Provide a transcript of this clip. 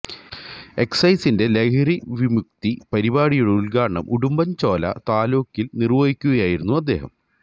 എക്സൈസിന്റെ ലഹരിവിമുക്തി പരിപാടിയുടെ ഉദ്ഘാടനം ഉടുമ്പന്ചോല താലൂക്കില് നിര്വഹിക്കുകയായിരുന്നു അദ്ദേഹം